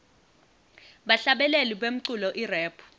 bahlabeleli bemculo irap